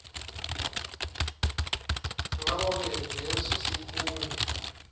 ngakoke leso sikhungo